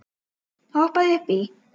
Hoppaðu upp í.